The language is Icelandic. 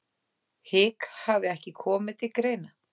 Hik hafi ekki komið til greina